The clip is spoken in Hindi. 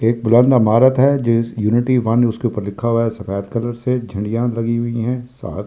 यूनिटी एक उसके ऊपर लिखा हुआ है सफ़ेद कलर से झंडिया भी लगी हुई है साथ।